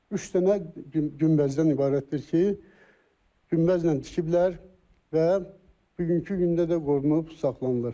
Üç dənə günbəzdən ibarətdir ki, günbəzlə tikiblər və bugünkü gündə də qorunub saxlanılır.